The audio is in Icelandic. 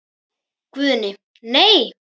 Guðni:. nei.